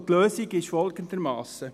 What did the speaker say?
Die Lösung ist folgendermassen: